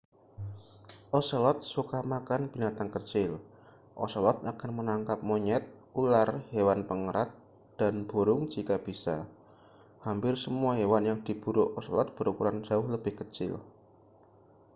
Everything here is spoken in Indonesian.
ocelot suka makan binatang kecil ocelot akan menangkap monyet ular hewan pengerat dan burung jika bisa hampir semua hewan yang diburu ocelot berukuran jauh lebih kecil